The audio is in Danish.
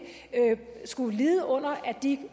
skulle lide under at de